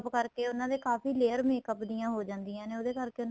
ਕਰਕੇ ਉਹਨਾ ਦੇ ਕਾਫ਼ੀ layer makeup ਦੀਆਂ ਉਹ ਜਾਦੀਆਂ ਨੇ ਉਹਦੇ ਕਰਕੇ